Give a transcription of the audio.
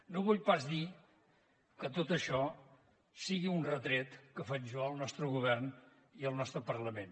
no vull pas dir que tot això sigui un retret que faig jo al nostre govern i al nostre parlament